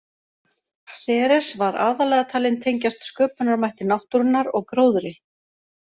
Ceres var aðallega talin tengjast sköpunarmætti náttúrunnar og gróðri.